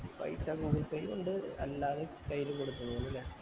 പൈസ google pay ഉം ഇണ്ട് അല്ലാതെ കയ്യില് കൊടുത്തതു ഇണ്ട് അല്ലെ